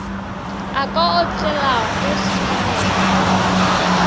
a ka otlelago senamelwa mo